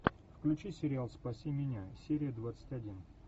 включи сериал спаси меня серия двадцать один